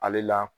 Ale la